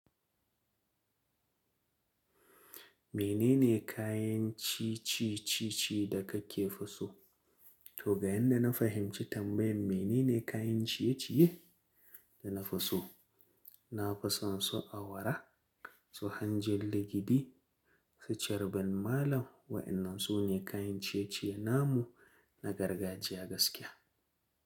Menene kayan ciye-ciye da kafi so? To ga yadda na fahimci tambayan menene kayan ciye-ciye da na fi so, na fi son su awara, su hanjin legidi, su carban malam waƴannan su ne kayan ciye-ciye namu na gargajiya gaskiya.